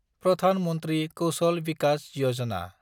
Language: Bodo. प्रधान मन्थ्रि कौशल भिकास यजना